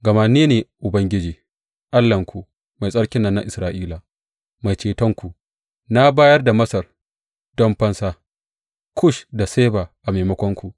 Gama ni ne Ubangiji, Allahnku, Mai Tsarkin nan na Isra’ila, Mai Cetonku; na bayar da Masar don fansa, Kush da Seba a maimakonku.